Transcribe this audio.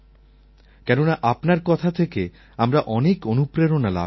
কেননা আপনার কথা থেকে আমরা অনেক অনুপ্রেরণা লাভ করি